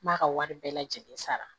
N b'a ka wari bɛɛ lajɛlen sara